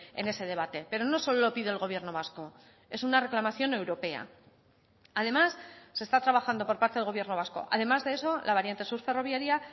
en ese debate pero no solo lo pide el gobierno vasco es una reclamación europea además se está trabajando por parte del gobierno vasco además de eso la variante sur ferroviaria